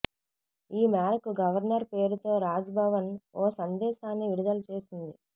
ఈ మేరకు గవర్నర్ పేరుతో రాజ్ భవన్ ఓ సందేశాన్ని విడుదల చేశారు